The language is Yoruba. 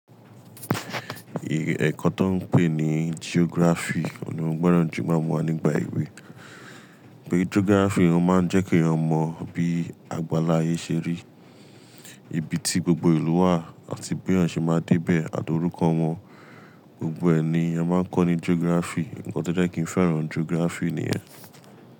Èkó tó n pè ní geography òun ní feran jù n gbọ́ràn jù máa mú wa nígbà ìwé. Pé geography máa n jẹ́ kí èèyàn mọ bí àgbàlá ayé ṣe rí, ibi tí gbogbo ìlú wà àti bí èèyàn ṣe máa dé bẹ̀ àti orúkọ wọn. Gbogbo ẹni a máa ń kọ́ ní geography. Ǹkan to jẹ́ kí n fẹ́ràn geography nìyẹn.